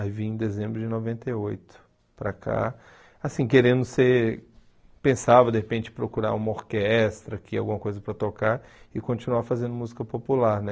Aí vim em dezembro de noventa e oito para cá, assim, querendo ser... Pensava, de repente, procurar uma orquestra aqui, alguma coisa para tocar e continuar fazendo música popular, né?